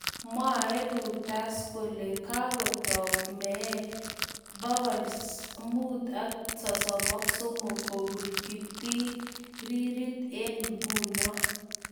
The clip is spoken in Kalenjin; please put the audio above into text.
Mwaae reuters kolee kagotook meet 533 kobuun kiptiiriirit eng' nguno.